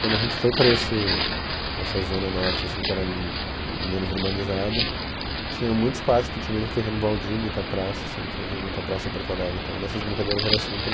Quando a gente foi para esse, essa zona norte, assim que era m menos urbanizada, tinha muitos parques, porque tinha muito terreno baldio, muita praça, sempre teve muita praça em Porto Alegre, então nossas brincadeiras eram sempre...